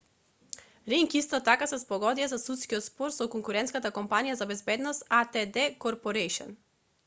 ринг исто така се спогоди за судски спор со конкурентската компанија за безбедност адт корпорејшн